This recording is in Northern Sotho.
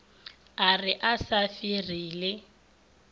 a re a sa ferile